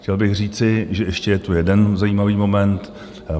Chtěl bych říci, že je tu ještě jeden zajímavý moment.